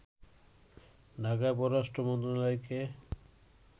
ঢাকায় পররাষ্ট্র মন্ত্রণালয়কে